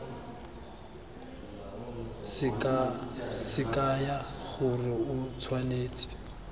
se kaya gore o tshwanetse